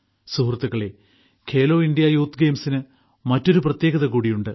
സുഹൃത്തുക്കളേ Khelo India youth ഗെയിംസിന് മറ്റൊരു പ്രത്യേകത കൂടിയുണ്ട്